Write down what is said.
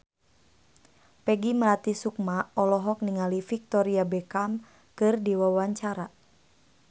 Peggy Melati Sukma olohok ningali Victoria Beckham keur diwawancara